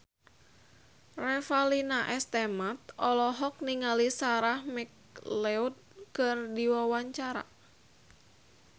Revalina S. Temat olohok ningali Sarah McLeod keur diwawancara